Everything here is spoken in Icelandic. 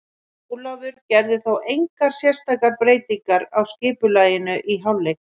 Ólafur gerði þó engar sérstakar breytingar á skipulaginu í hálfleik.